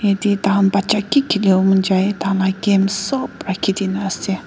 yate taihan baja ke khele bole monjai tahan la games sop rakhe de kena ase.